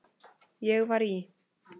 Ég var í